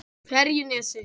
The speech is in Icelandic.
Ferjunesi